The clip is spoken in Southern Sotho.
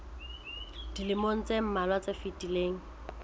dilemong tse mmalwa tse fetileng